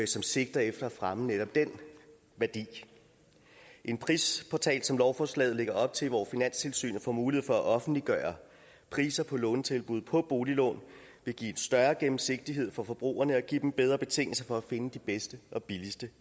som sigter efter at fremme netop den værdi en prisportal som den lovforslaget lægger op til hvor finanstilsynet får mulighed for at offentliggøre priser på lånetilbud på boliglån vil give en større gennemsigtighed for forbrugerne og give dem bedre betingelser for at finde de bedste og billigste